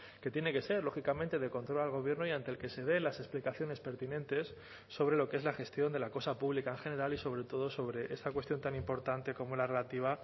que tiene que ser lógicamente de control al gobierno y ante el que se dé las explicaciones pertinentes sobre lo que es la gestión de la cosa pública en general y sobre todo sobre esta cuestión tan importante como la relativa